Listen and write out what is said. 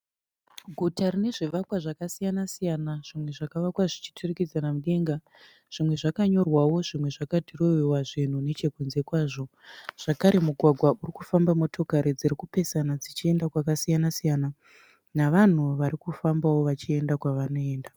Guta rinezvivakwa zvakasiyana-siyana , zvimwe zvakavakwa zvichiturikidzana mudenga. Zvimwe zvakanyorwawo zvimwe zvakadhirowewa zvinhu nechekunze kwazvo. Zvakare mugwagwa urikufamba motokari dziripesana dzichienda kwakasiyana-siyana. Navanhu varikufambawo vachienda kwavanoenda.